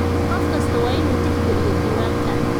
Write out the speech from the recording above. Qof kastaa waa inuu tixgeliyo diiwaanka.